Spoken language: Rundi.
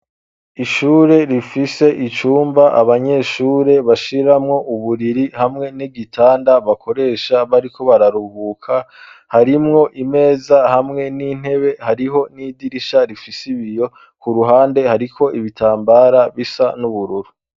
Ishure, rifise icumba, abanyeshure bashiramwo uburiri, hamwe n'igitanda, bakoresha, bariko bararuhuka; harimwo imeza, hamwe n'intebe; hariho n'idirisha rifise ibiyo; ku ruhande, hariko ibitambara, bisa n'ubururu.